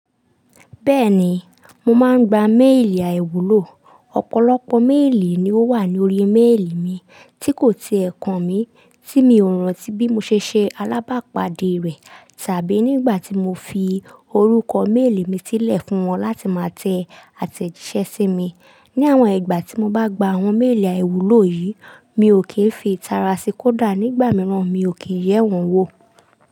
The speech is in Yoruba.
Bẹ́ẹ̀ni, mo máa ń gba méèlì àìwúlò. Ọ̀pọ̀lọpọ̀ méèlì ni ó wà ní orí méèlì mi tí kò ti è kan mi tí mi ò rántí bí mo ṣe ṣe alábàápàdé rẹ̀ tàbí nígbà tí mo fi orúkọ méèlì mi sílẹ̀ fún wọn láti máa tẹ àtẹ̀jíṣẹ́ sí mi. Ni àwọn ìgbà tí mo bá gba àwọn méèlì àìwúlò yìí, mi ò kì í fi itara sí kódà nígbà mìíràn mi ò kì í n yẹ́ wọ́n wò.